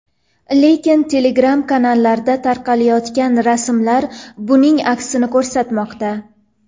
Lekin Telegram-kanallarda tarqayotgan rasmlar buning aksini ko‘rsatmoqda .